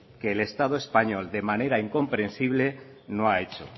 que el estado español de manera incomprensible no ha hecho